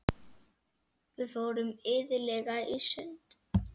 Við fórum iðulega í sund.